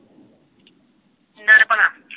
ਕਿਹਨਾਂ ਨੇ ਭਲਾ?